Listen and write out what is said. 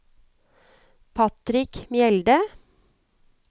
Patrick Mjelde